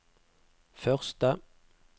første